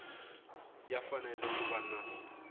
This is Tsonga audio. ya fanele ku va na